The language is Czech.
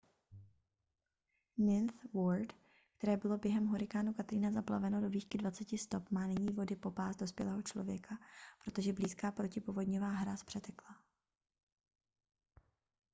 ninth ward které bylo během hurikánu katrina zaplaveno do výšky 20 stop má nyní vody po pás dospělého člověka protože blízká protipovodňová hráz přetekla